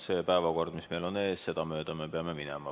See päevakord, mis meil on ees, seda mööda me peame minema.